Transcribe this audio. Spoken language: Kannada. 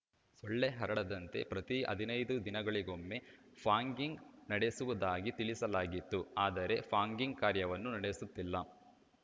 ಸೊಳ್ಳೆ ಹರಡದಂತೆ ಪ್ರತಿ ಹದಿನೈದು ದಿನಗಳಿಗೊಮ್ಮೆ ಫಾಗಿಂಗ್‌ ನಡೆಸುವುದಾಗಿ ತಿಳಿಸಲಾಗಿತ್ತು ಆದರೆ ಫಾಗಿಂಗ್‌ ಕಾರ್ಯವನ್ನು ನಡೆಸುತ್ತಿಲ್ಲ